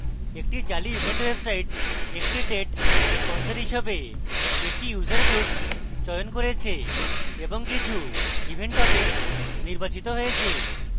একটি জালি event website একটি date sponsor হিসেবে এক user groups চয়ন করেছে এবং কিছু event topics নির্বাচিত হয়েছে